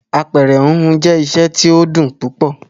Apẹ̀rẹ̀ híhun jẹ́ iṣẹ́ tó dùn púpọ̀.